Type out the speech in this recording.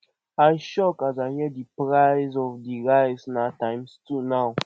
i shock as i hear as i hear sey di price of di rice na times two now